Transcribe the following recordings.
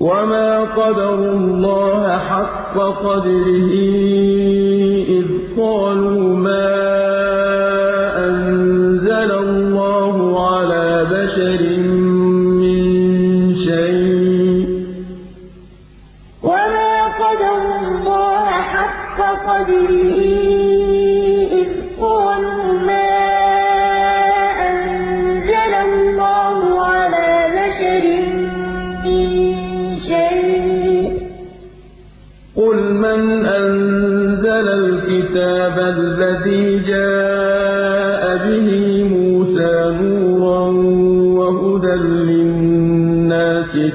وَمَا قَدَرُوا اللَّهَ حَقَّ قَدْرِهِ إِذْ قَالُوا مَا أَنزَلَ اللَّهُ عَلَىٰ بَشَرٍ مِّن شَيْءٍ ۗ قُلْ مَنْ أَنزَلَ الْكِتَابَ الَّذِي جَاءَ بِهِ مُوسَىٰ نُورًا وَهُدًى لِّلنَّاسِ ۖ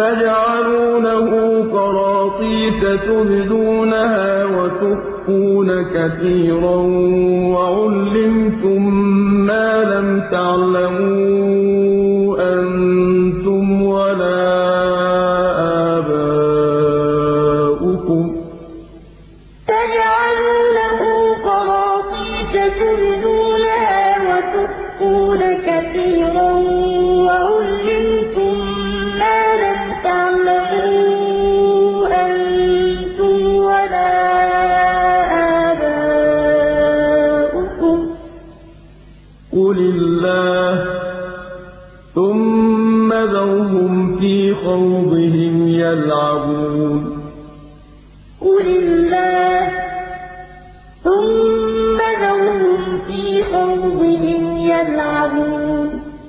تَجْعَلُونَهُ قَرَاطِيسَ تُبْدُونَهَا وَتُخْفُونَ كَثِيرًا ۖ وَعُلِّمْتُم مَّا لَمْ تَعْلَمُوا أَنتُمْ وَلَا آبَاؤُكُمْ ۖ قُلِ اللَّهُ ۖ ثُمَّ ذَرْهُمْ فِي خَوْضِهِمْ يَلْعَبُونَ وَمَا قَدَرُوا اللَّهَ حَقَّ قَدْرِهِ إِذْ قَالُوا مَا أَنزَلَ اللَّهُ عَلَىٰ بَشَرٍ مِّن شَيْءٍ ۗ قُلْ مَنْ أَنزَلَ الْكِتَابَ الَّذِي جَاءَ بِهِ مُوسَىٰ نُورًا وَهُدًى لِّلنَّاسِ ۖ تَجْعَلُونَهُ قَرَاطِيسَ تُبْدُونَهَا وَتُخْفُونَ كَثِيرًا ۖ وَعُلِّمْتُم مَّا لَمْ تَعْلَمُوا أَنتُمْ وَلَا آبَاؤُكُمْ ۖ قُلِ اللَّهُ ۖ ثُمَّ ذَرْهُمْ فِي خَوْضِهِمْ يَلْعَبُونَ